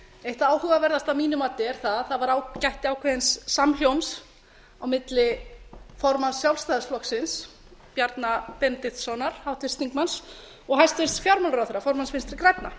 eitt það áhugaverðasta að mínu mati er að það gætti ákveðins samhljóms á milli formanns sjálfstæðisflokksins háttvirts þingmanns bjarna benediktssonar og hæstvirtur fjármálaráðherra formanns vinstri grænna